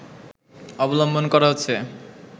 অবলম্বন করা হচ্ছে